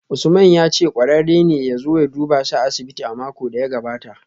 Usman ya ce kwararre ne ya zo duba shi a asibiti a makon da ya gabata